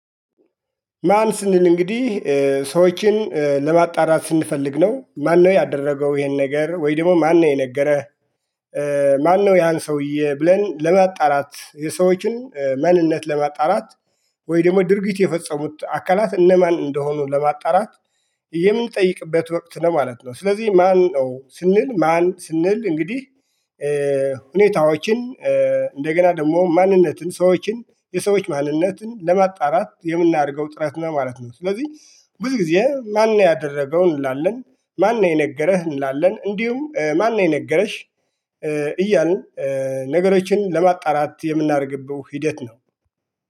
ማን ስንል እንግዲህ ሰዎችን ለማጣራት ስንፈልግ ነው ማነው ያደረገው ይሄን ነገር ወይ ደግሞ ማነው የነገረ? ማነው ያን ሰውዬ ብለን ለማጣራት የሰዎችን ማንነት ለማጣራት ወይ ደግሞ ድርጊት የፈጸሙት አካላት እነማን እንደሆኑ ለማጣራት የምንጠይቅበት ወቅት ነው ማለት ነው። ስለዚህ ማነው ስንል ማን ስንል እንግዲህ ሁኔታዎችን እንደገና ደግሞ ማንነትን ሰዎችን የሰዎች ማንነትን ለማጣራት የምናደርገው ጥረት ነው ማለት ነው። ስለዚህ ብዙ ጊዜ ማነው ያደረገው? እንላለን ማነው የነገረህ? እንላለን እንዲሁም ማን ነው የነገረሽ? እያልን ነገሮችን ለማጣራት የምናደርግበት ሂደት ነው